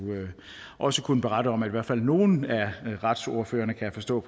også kunne berette om at i hvert fald nogle af retsordførerne kan jeg forstå